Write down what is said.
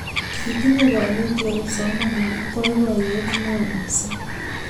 Kitinnye kanetik ak kipsomaninik boiboyet neo mising